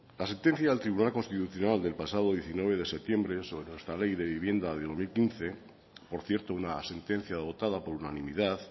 la sentencia del tribunal constitucional del pasado diecinueve de septiembre sobre nuestra ley de vivienda de dos mil quince por cierto una sentencia adoptada por unanimidad